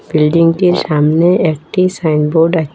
বিল্ডিংটির সামনে একটি সাইন বোর্ড আচে--